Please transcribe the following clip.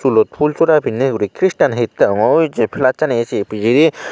sulot fhulsora pinney guri kristan hittey hongor jey plassani ey si pijedi.